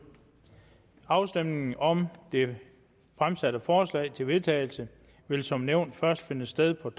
afstemning om det fremsatte forslag til vedtagelse vil som nævnt først finde sted på